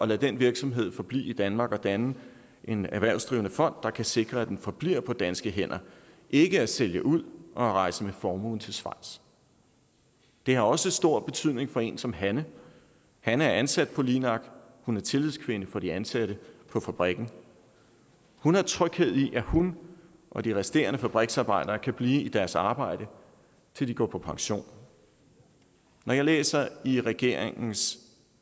lade den virksomhed forblive i danmark og danne en erhvervsdrivende fond der kan sikre at den forbliver på danske hænder ikke at sælge ud og rejse med formuen til schweiz det har også stor betydning for en som hanne hanne er ansat på linak hun er tillidskvinde for de ansatte på fabrikken hun har tryghed i at hun og de resterende fabriksarbejdere kan blive på deres arbejde til de går på pension når jeg læser i regeringens